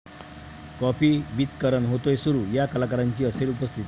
coffee with Karan' होतोय सुरू, 'या' कलाकारांची असेल उपस्थिती